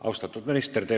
Austatud minister!